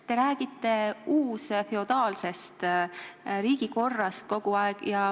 Te räägite kogu aeg uusfeodaalsest riigikorrast.